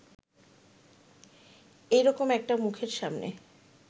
এই রকম একটা মুখের সামনে